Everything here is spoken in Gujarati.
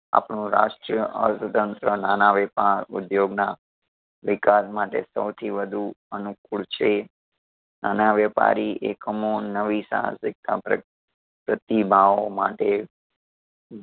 આપણો રાષ્ટ્રીય અર્થતંત્ર નાના વહેપાર, ઉધ્યોગ ના વિકાસ માટે સૌથી વધુ અનુકૂળ છે. નાના વહેપારી એકમો નવી સાહસિકતા પ્ર પ્રતિભાવો માટે